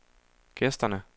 gæsterne